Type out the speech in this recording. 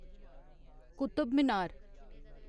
Qutub Minar